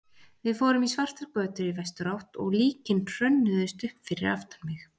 Við fórum svartar götur í vesturátt og líkin hrönnuðust upp fyrir aftan mig.